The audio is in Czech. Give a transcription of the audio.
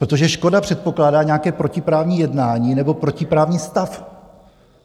Protože škoda předpokládá nějaké protiprávní jednání nebo protiprávní stav.